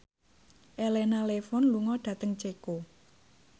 Elena Levon lunga dhateng Ceko